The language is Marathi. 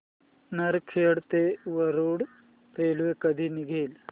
नरखेड ते वरुड रेल्वे कधी निघेल